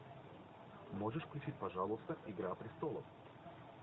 можешь включить пожалуйста игра престолов